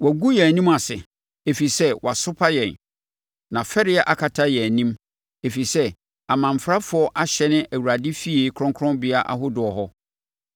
“Wɔagu yɛn anim ase, ɛfiri sɛ wasopa yɛn na fɛreɛ akata yɛn anim, ɛfiri sɛ amanfrafoɔ ahyɛne Awurade efie kronkronbea ahodoɔ hɔ.”